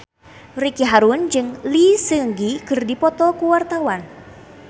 Ricky Harun jeung Lee Seung Gi keur dipoto ku wartawan